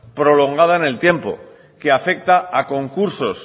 prolongada en el tiempo que afecta a concursos